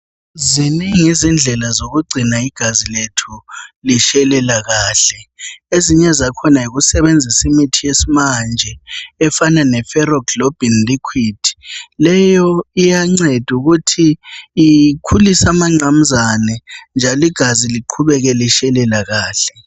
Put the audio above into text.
Zinengi indlela zokugcina igazi lethu litshelela kahle. Ezinye zakhona yikusebenzisa imithi yesimanje efana leFeroglobin liquid. Leyo iyancedesa ukuthi ikhulise amangqamzane njalo igazi liqhubeke litshelela kahlre